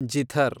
zither